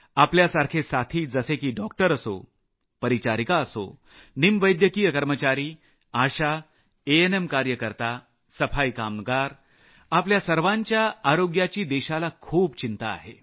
आपल्यासारखे साथी जसे की डॉक्टर असो परिचारिका असो निमवैद्यकीय कर्मचारी आशा एएनएम कार्यकर्तासफाई कामगार आपल्या आरोग्याची देशाला खूप चिंता आहे